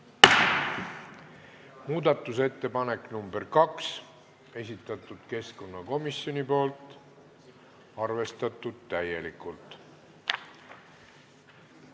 Muudatusettepanek nr 2, esitatud keskkonnakomisjoni poolt, arvestatud täielikult.